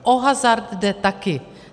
O hazard jde taky.